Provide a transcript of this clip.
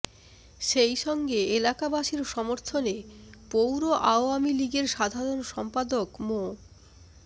সেইসঙ্গে এলাকাবাসীর সমর্থনে পৌর আওয়ামী লীগের সাধারণ সম্পাদক মো